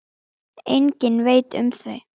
Enginn veit um þau.